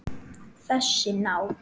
Þessi ná